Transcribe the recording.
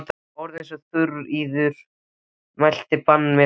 En orð eins og Þuríður mælti banna mér slíkt.